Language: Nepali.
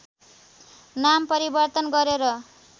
नाम परिवर्तन गरेर